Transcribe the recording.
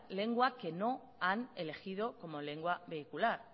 lengua que no han elegido como lengua vehicular